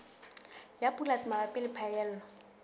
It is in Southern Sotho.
ya polasi mabapi le phaello